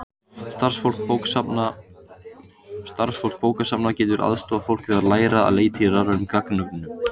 Starfsfólk bókasafna getur aðstoðað fólk við að læra að leita í rafrænum gagnagrunnum.